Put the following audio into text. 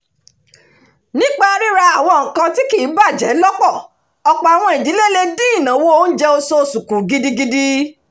nípa ríra àwọn nǹkan tí kìí bàjẹ́ lọ́pọ̀ ọ̀pọ̀ àwọn ìdílé le dín ìnáwó oúnjẹ oṣoosù kù gidigidi